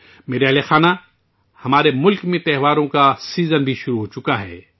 میرے پیارے اہلِ خانہ، ہمارے ملک میں تہواروں کا موسم بھی شروع ہو گیا ہے